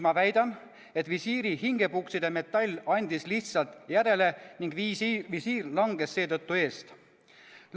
Ma väidan, et visiiri hingepukside metall andis lihtsalt järele ning visiir langes seetõttu eest.